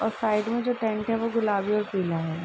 और साइड मे जो टेंट है वो गुलाबी और पीला है।